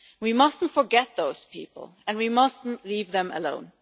We must not forget those people and we must not leave them alone.